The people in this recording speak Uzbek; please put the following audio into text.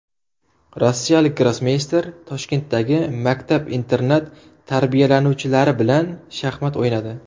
Rossiyalik grossmeyster Toshkentdagi maktab-internat tarbiyalanuvchilari bilan shaxmat o‘ynadi.